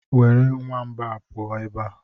Were nwamba a pụọ ebe a!